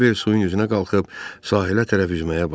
Kiper suyun üzünə qalxıb sahilə tərəf üzməyə başladı.